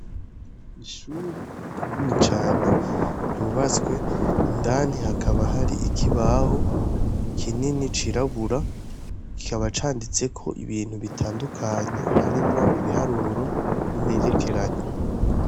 Ishuri rinini cane ryubatswe, indani hakaba hari ikibaho kinini cirabura, kikaba canditseko ibintu bitandukanye, harimwo ibiharuro n'imperekeranya.